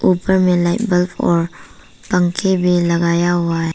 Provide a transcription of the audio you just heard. ऊपर में light bulb और पंखे भी लगाया हुआ है।